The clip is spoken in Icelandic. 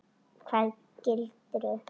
Hvaða gildru?